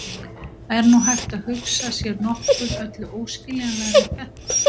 Er nú hægt að hugsa sér nokkuð öllu óskiljanlegra en þetta?